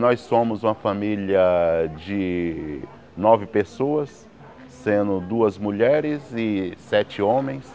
Nós somos uma família de nove pessoas, sendo duas mulheres e sete homens.